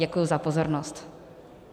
Děkuji za pozornost.